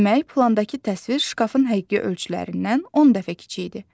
Demək, plandakı təsvir şkafın həqiqi ölçülərindən 10 dəfə kiçikdir.